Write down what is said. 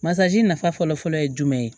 nafa fɔlɔ-fɔlɔ ye jumɛn ye